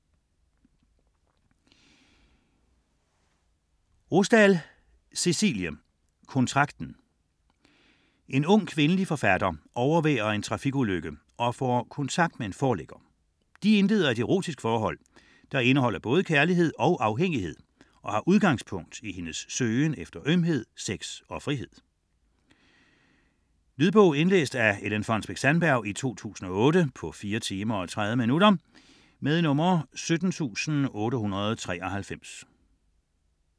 Rosdahl, Cecilie: Kontrakten En ung kvindelig forfatter overværer en trafikulykke og får kontakt med en forlægger. De indleder et erotisk forhold, der indeholder både kærlighed og afhængighed og har udgangspunkt i hendes søgen efter ømhed, sex og frihed. Lydbog 17893 Indlæst af Ellen Fonnesbech-Sandberg, 2008. Spilletid: 4 timer, 30 minutter.